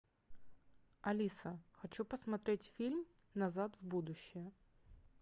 алиса хочу посмотреть фильм назад в будущее